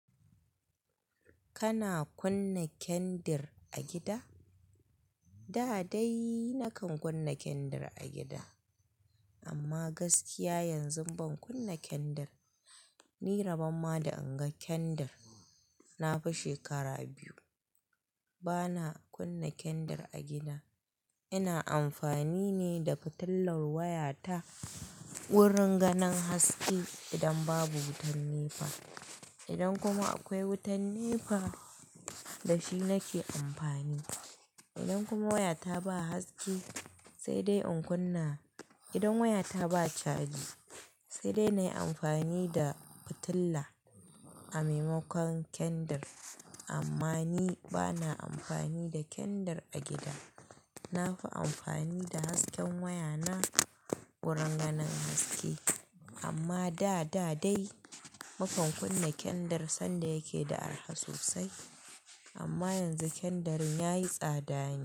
Kana kunna kendir a gida? Da dai na kan kunna kendir a gida amma gaskiya yanzu ban kunna kendir. Ni rabon ma da an ga kendir, na fi shekara biyu bana kunna kendir a gida. Ina amfani ne da fitilar wayata wurin ganin haske idan babu wutar nepa. Idan kuma akwai wutar nepa da shi nake amfani. Idan kuma wayata ba haske sai dai in kunna. Idan wayata ba caji sai dai na yi amfani da fitila a maimakon kendir. Amma ni bana amfani da kendir a gida. Na fi amfani da hasken wayana wurin ganin haske. Amma da, da dai mukan kunna kendir sanda yake da arha sosai. Amma yanzu kendirin ya yi tsada ne.